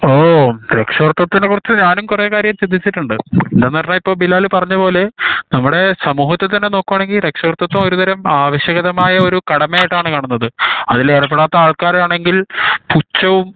ഓഹ് രക്ഷാകർത്തതിനെ കുറിച്ച ഞാനും കൊറേ കാര്യം ചിന്തിച്ചിട്ടുണ്ട് എന്താ പറഞ്ഞ ഇപ്പൊ ബിലാലു പറഞ്ഞപോലെ നമ്മടെ സമൂഹത്തിൽ തന്നെ നോക്കാനെങ്കിൽ രക്ഷകര്ത്തിത്വം ഒരു ആവാസകാതമായ ഒരു കടമ ആയി ആണ് കാണുന്നത് അതിൽ ഏർപ്പെടാത്ത ആൾകാർ ആണെങ്കിൽ പുതച്ചാവും